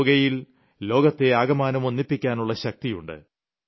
യോഗയിൽ ലോകത്തെ ആകമാനം ഒന്നിപ്പിക്കാനുളള ശക്തിയുണ്ട്